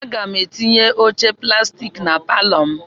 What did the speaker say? Aga m etinye oche plastik na palọ m.